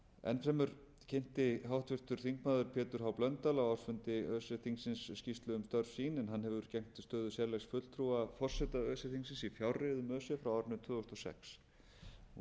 enn fremur kynnti háttvirtur þingmaður pétur h blöndal á ársfundi öse þingsins skýrslu um störf sín en hann hefur gegn stöðu sérlegs fulltrúa forseta öse þingsins í fjárreiðum öse frá árinu tvö þúsund og sex